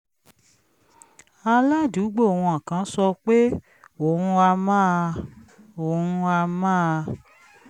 aládùúgbò wọn kan sọ pé òun á máa òun á máa